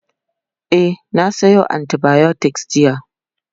e na Sayo antibiotics jiya